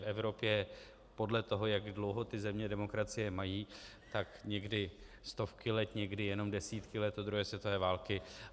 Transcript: V Evropě podle toho, jak dlouho ty země demokracie mají, tak někdy stovky let, někdy jenom desítky let od druhé světové války.